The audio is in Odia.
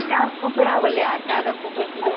ଆକାର କୁକୁଡ଼ା ଭଳିଆ ଆକାର କୁକୁଡ଼ା